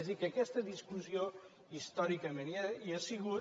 és a dir que aquesta discussió històricament hi ha sigut